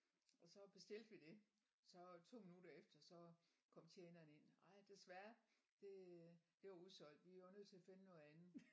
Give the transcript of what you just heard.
Og så bestilte vi det. Så to minutter efter så kom tjeneren ind ej desværre det det var udsolgt vi var nødt til at finde noget andet